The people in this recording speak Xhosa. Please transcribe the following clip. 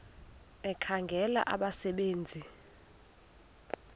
ekhangela abasebe nzi